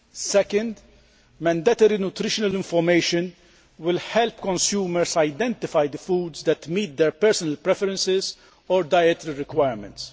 Secondly, mandatory nutrition information will help consumers identify the foods that meet their personal preferences or dietary requirements.